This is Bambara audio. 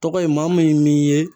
Tɔgɔ ye maa min m'i ye